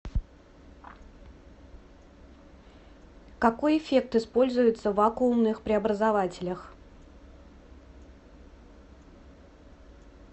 какой эффект используется в вакуумных преобразователях